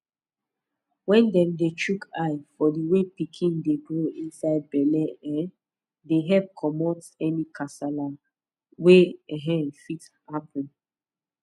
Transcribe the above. wen dem dey chook eye for the way pikin dey grow inside belle um dey epp commot any kasala wey um fit happens